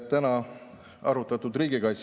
Palun, kokku kaheksa minutit.